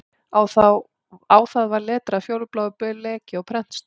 Á það var letrað fjólubláu bleki og prentstöfum